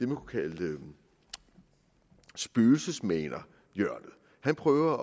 kunne kalde spøgelsesmanerhjørnet han prøver at